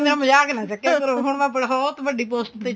ਮਜਾਕ ਨਾ ਚੱਕਿਆ ਕਰੋ ਹੁਣ ਮੈਂ ਬਹੁਤ ਵੱਡੀ ਪੋਸਟ ਤੇ